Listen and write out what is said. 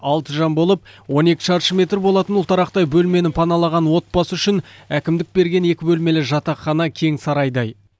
алты жан болып он екі шаршы метр болатын ұлтарақтай бөлмені паналаған отбасы үшін әкімдік берген екі бөлмелі жатақхана кең сарайдай